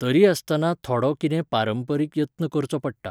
तरी आसतना थोडो कितें पारंपरिक यत्न करचो पडटा.